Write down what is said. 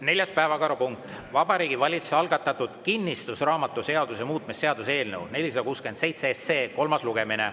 Neljas päevakorrapunkt: Vabariigi Valitsuse algatatud kinnistusraamatuseaduse muutmise seaduse eelnõu 467 kolmas lugemine.